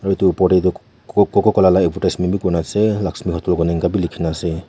etu opor de tu co cococola la advertisement b kuri na ase laxmi hotel eneka b likhi na ase.